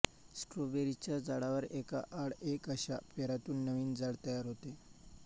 स्ट्रॉबेरीच्या झाडावर एका आड एक अशा पेरातून नवीन झाड तयार होते